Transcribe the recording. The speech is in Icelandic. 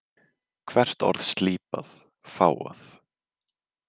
Hvert orð slípað, fágað.